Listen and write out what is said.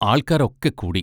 ആൾക്കാരൊക്കെ കൂടി!